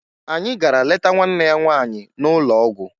Anyị gara leta nwanne ya nwaanyị n'ụlọ ọgwụ